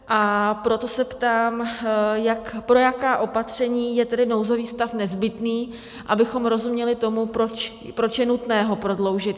A proto se ptám, pro jaká opatření je tedy nouzový stav nezbytný, abychom rozuměli tomu, proč je nutné ho prodloužit.